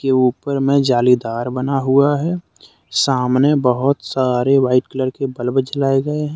ऊपर में जालीदार बना हुआ है। सामने बहुत सारे वाइट कलर के बल्ब जलाये गए है।